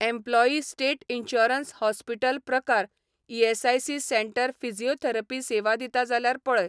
Employee state insurance hospital प्रकार ESIC centre physiotherapy सेवा दिता जाल्यार पळय.